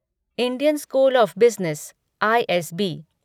Indian school of business ISB